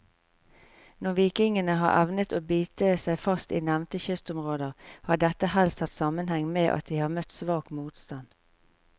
Når vikingene har evnet å bite seg fast i nevnte kystområder, har dette helst hatt sammenheng med at de har møtt svak motstand.